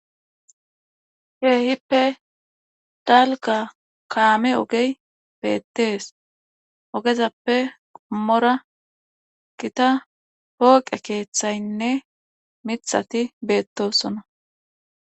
Ke'iippe dalgga kaame ogey beettees ogezappe qomora gita pooqe keeththaynne miththati beettosona